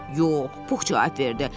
Yox, Pux cavab verdi.